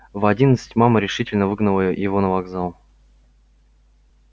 в одиннадцать мама решительно выгнала его на вокзал